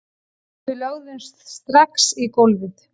Við lögðumst strax í gólfið